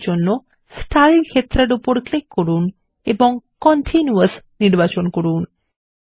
এই কাজের জন্য স্টাইল ক্ষেত্রের উপর ক্লিক করুন এবং কন্টিনিউয়াস নির্বাচন করুন